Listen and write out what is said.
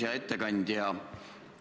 Hea ettekandja!